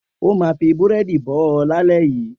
O ma fi búrẹ́dì bó ọ lálẹ́ yìí.